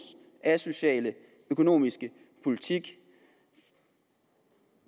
asociale økonomiske politik